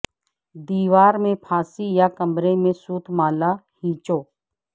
دیوار پر پھانسی یا کمرے میں سوت مالا ھیںچو